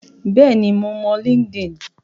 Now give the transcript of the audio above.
Bẹ́ẹ̀ ni, mo mọ Linkedin.